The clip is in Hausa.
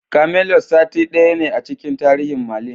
Camelot saitin daya ne a cikin tarihin Merlin.